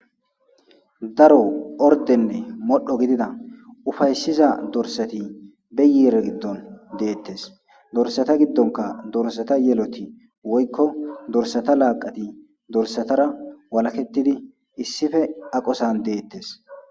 daro ordenne modho gidida ufayssiza dorsati be yiire giddon deettes dorsata giddonka dorsata yeloti woykko dorsata laaqati dorsatara walakettidi issife aqosan deettes